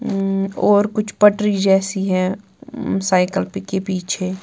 अं और कुछ पटरी जैसी हैं साइकल के पीछे--